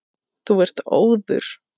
Þú ert óður!